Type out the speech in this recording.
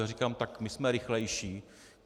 Já říkám: Tak my jsme rychlejší.